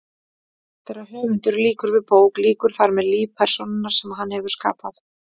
Þegar höfundur lýkur við bók lýkur þar með lífi persónunnar sem hann hefur skapað.